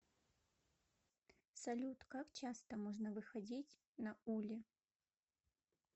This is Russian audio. салют как часто можно выходить на уле